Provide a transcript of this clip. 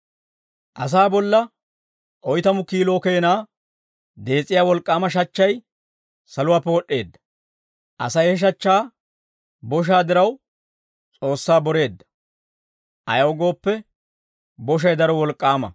Asaa bolla oytamu kiilo keenaa dees'iyaa wolk'k'aama shachchay saluwaappe wod'd'eedda. Asay he shachchaa boshaa diraw, S'oossaa boreedda; ayaw gooppe, boshay daro wolk'k'aama.